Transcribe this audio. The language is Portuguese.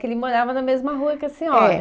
Que ele morava na mesma rua que a senhora. É